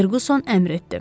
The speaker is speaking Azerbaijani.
Ferquson əmr etdi.